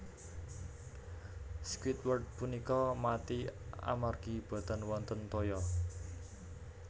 Squidward punika mati amargi boten wonten toya